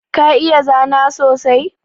Ka iya zana sosai?